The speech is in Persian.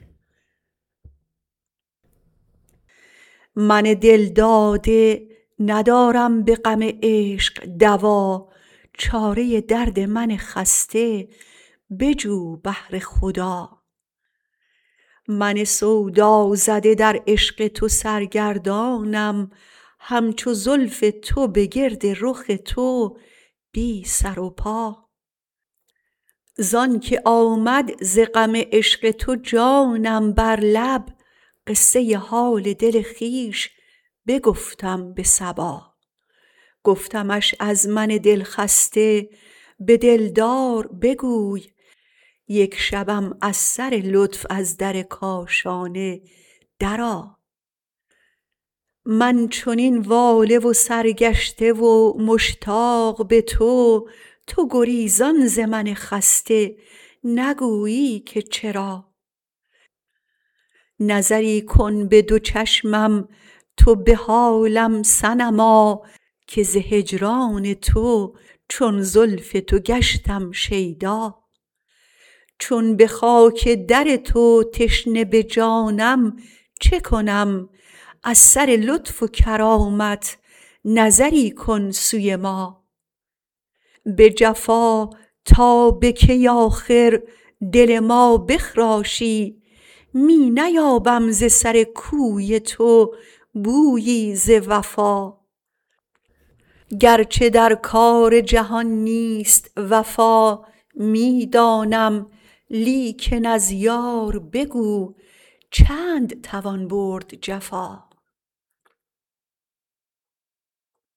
من دلداده ندارم به غم عشق دوا چاره درد من خسته بجو بهر خدا من سودازده در عشق تو سرگردانم همچو زلف تو به گرد رخ تو بی سر و پا زآنکه آمد ز غم عشق تو جانم بر لب قصه حال دل خویش بگفتم به صبا گفتمش از من دلخسته به دلدار بگوی یک شبم از سر لطف از در کاشانه درآ من چنین واله و سرگشته و مشتاق به تو تو گریزان ز من خسته نگویی که چرا نظری کن به دو چشمم تو به حالم صنما که ز هجران تو چون زلف تو گشتم شیدا چون به خاک در تو تشنه به جانم چه کنم از سر لطف و کرامت نظری کن سوی ما به جفا تا به کی آخر دل ما بخراشی می نیابم ز سر کوی تو بویی ز وفا گرچه در کار جهان نیست وفا می دانم لیکن از یار بگو چند توان برد جفا